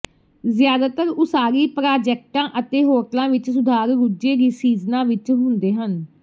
ਜ਼ਿਆਦਾਤਰ ਉਸਾਰੀ ਪ੍ਰਾਜੈਕਟਾਂ ਅਤੇ ਹੋਟਲਾਂ ਵਿਚ ਸੁਧਾਰ ਰੁੱਝੇ ਸੀਜ਼ਨਾਂ ਵਿਚ ਹੁੰਦੇ ਹਨ